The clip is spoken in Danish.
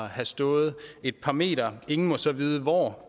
have stået et par meter og ingen må så vide hvor